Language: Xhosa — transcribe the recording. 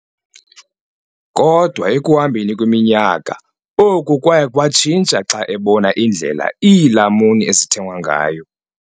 Kodwa ekuhambeni kweminyaka, oku kwaye kwatshintsha xa ebona indlela iilamuni ezithengwa ngayo.